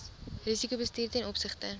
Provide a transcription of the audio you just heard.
risikobestuur ten opsigte